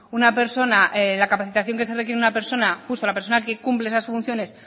una persona la capacitación que se requiere de una persona justo la persona que cumple esas funciones